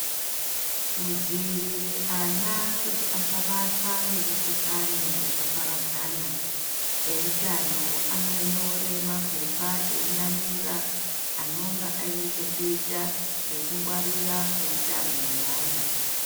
Kudziirire ana kuti asabatwa nemikuhlani yakaparadzana ehutano anonyore mapepa einamira anonga aine chekuita nekungwarira kwehutano hweana.